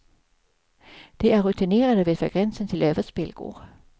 De är rutinerade och vet var gränsen till överspel går.